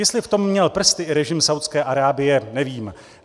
Jestli v tom měl prsty i režim Saúdské Arábie, nevím.